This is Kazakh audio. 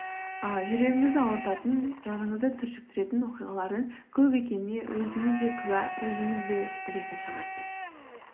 ыыы жүрегіңізді ауыртатын жаныңызды түршіктіретін оқиғалардың көп екеніне өзіңіз де куә өзіңіз де білетін шығарсыз